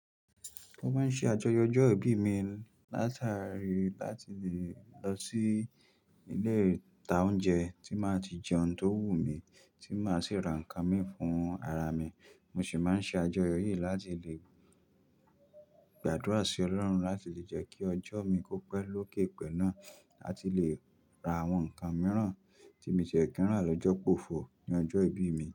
Mo máa ń ṣe àjọyọ̀ ọjọ́ ìbí mi látàrí láti lè lọ sí ilé ìta oúnjẹ tí máa ti jẹ ohun tó wù mí, tí máa sì ra nǹkan mí fún ara mi. Mo sì máa ń ṣe àjọyọ̀ yìí láti lè gbàdúrà sí Ọlọ́run láti lè jẹ́ kí ọjọ́ mi kó pẹ́ lókè pẹ̀ náà láti lè ra àwọn nǹkan mìíràn tí mo ti lè kí ń rà lọ́jọ́ pòfọ̀ ní ọjọ́ ìbí mi.